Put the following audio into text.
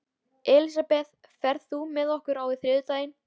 Elisabeth, ferð þú með okkur á þriðjudaginn?